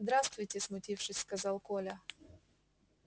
здравствуйте смутившись сказал коля